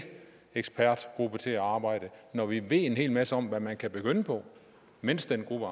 ekspertgruppe til at arbejde når vi ved en hel masse om hvad man kan begynde på mens den gruppe